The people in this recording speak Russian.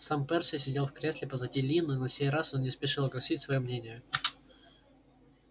сам перси сидел в кресле позади ли но на сей раз он не спешил огласить своё мнение